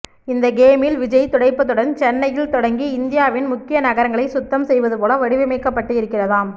இந்த கேம்மில் விஜய் துடைப்பத்துடன் சென்னையில் தொடங்கி இந்தியாவின் முக்கிய நகரங்களை சுத்தம் செய்வது போல வடிவமைக்கப்பட்டு இருக்கிறதாம்